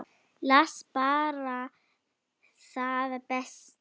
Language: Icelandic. Las bara það besta.